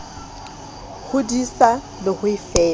ho disa le ho e